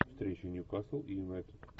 встреча ньюкасл и юнайтед